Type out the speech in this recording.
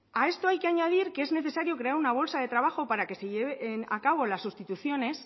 a esto hay que añadir que es necesario crear una bolsa de trabajo para que se lleven a cabo las sustituciones